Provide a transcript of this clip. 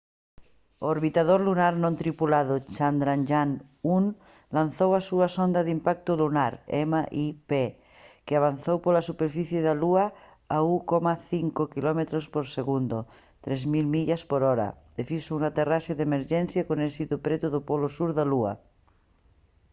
o orbitador lunar non tripulado chandrayaan-1 lanzou a súa sonda de impacto lunar mip que avanzou pola superficie da lúa a 1,5 quilómetros por segundo 3000 millas por hora e fixo unha aterraxe de emerxencia con éxito preto do polo sur da lúa